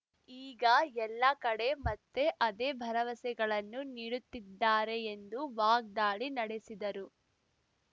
ಈಗ ಎಲ್ಲಾ ಕಡೆ ಮತ್ತೆ ಅದೇ ಭರವಸೆಗಳನ್ನು ನೀಡುತ್ತಿದ್ದಾರೆ ಎಂದು ವಾಗ್ದಾಳಿ ನಡೆಸಿದರು